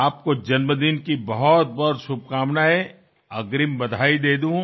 আপনাকে শুভ জন্মদিনের অনেক অনেক শুভেচ্ছা অগ্রিম জানিয়ে রাখি